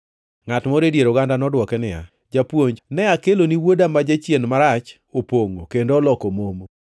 Ngʼat moro e dier oganda nodwoke niya, “Japuonj, ne akeloni wuoda ma jachien marach opongʼo kendo oloko momo.